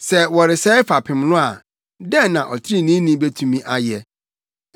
Sɛ wɔresɛe fapem no a, dɛn na ɔtreneeni betumi ayɛ?”